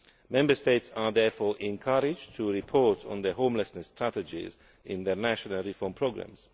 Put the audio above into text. Member States are therefore encouraged to report on their homelessness strategies in their National Reform Programmes.